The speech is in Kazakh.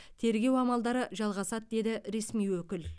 тергеу амалдары жалғасады деді ресми өкіл